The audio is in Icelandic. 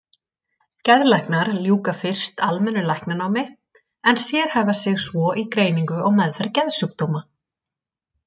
Geðlæknar ljúka fyrst almennu læknanámi en sérhæfa sig svo í greiningu og meðferð geðsjúkdóma.